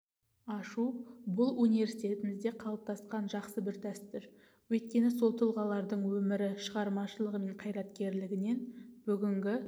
ашу бұл университетімізде қалыптасқан жақсы бір дәстүр өйткені сол тұлғаларлың өмірі шығармашылығы мен қайраткерлігінен бүгінгі